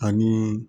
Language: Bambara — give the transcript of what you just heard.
Ani